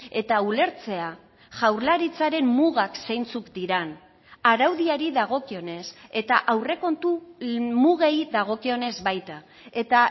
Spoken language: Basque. eta ulertzea jaurlaritzaren mugak zeintzuk diren araudiari dagokionez eta aurrekontu mugei dagokionez baita eta